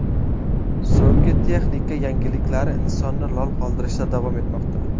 So‘nggi texnika yangiliklari insonni lol qoldirishda davom etmoqda.